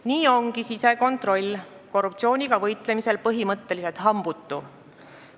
Nii ongi sisekontroll korruptsiooniga võitlemisel põhimõtteliselt hambutu.